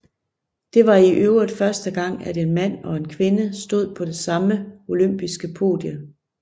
Det var i øvrigt første gang at en mand og en kvinde stod på det samme olympiske podie